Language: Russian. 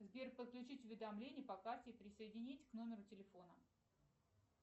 сбер подключить уведомления по карте и присоединить к номеру телефона